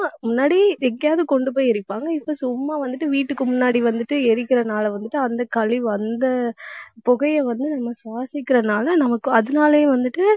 முன்னாடி எங்கேயாவது கொண்டு போய் எரிப்பாங்க. இப்ப சும்மா வந்துட்டு வீட்டுக்கு முன்னாடி வந்துட்டு எரிக்கிறதுனால வந்துட்டு அந்தக் கழிவு அந்தப் புகைய வந்து நம்ம சுவாசிக்கிறதுனால நமக்கு அதனாலேயே வந்துட்டு